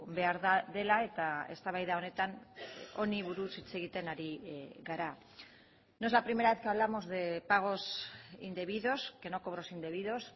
behar dela eta eztabaida honetan honi buruz hitz egiten ari gara no es la primera vez que hablamos de pagos indebidos que no cobros indebidos